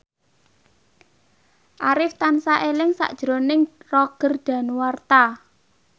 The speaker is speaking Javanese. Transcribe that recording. Arif tansah eling sakjroning Roger Danuarta